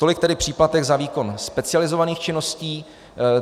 Tolik tedy příplatek za výkon specializovaných činností.